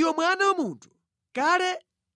“Iwe mwana wa munthu, kale